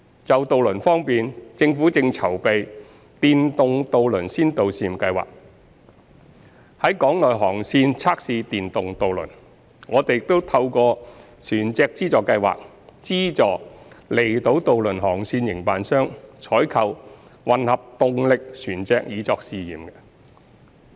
就渡輪方面，政府正籌備電動渡輪先導試驗計劃，在港內航線測試電動渡輪。我們亦透過船隻資助計劃，資助離島渡輪航線營辦商採購混合動力船隻以作試驗。